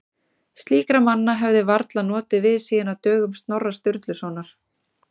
Slíkra manna hefði varla notið við síðan á dögum Snorra Sturlusonar.